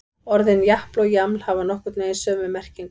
Orðin japl og jaml hafa nokkurn veginn sömu merkingu.